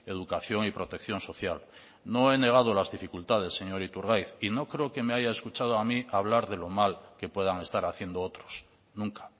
educación y protección social no he negado las dificultades señor iturgaiz y no creo que me haya escuchado a mí hablar de lo mal que puedan estar haciendo otros nunca